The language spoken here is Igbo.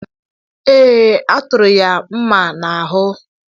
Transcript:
Ee e, a tụrụ ya mma n’ahụ́